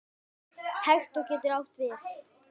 Hektor getur átt við